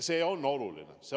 See on oluline.